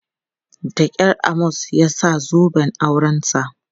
Da kyar Amos ya sa zoben aurensa.